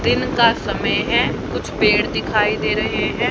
दिन का समय है कुछ पेड़ दिखाई दे रहे हैं।